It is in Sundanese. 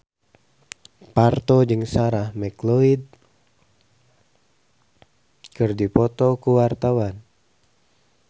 Parto jeung Sarah McLeod keur dipoto ku wartawan